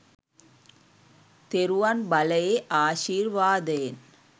තෙරුවන් බලයේ ආශිර්වාදයෙන්.